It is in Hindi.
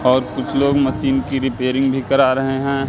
और कुछ लोग मशीन की रिपेयरिंग भी करा रहे हैं।